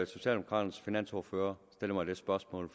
socialdemokraternes finansordfører stiller mig det spørgsmål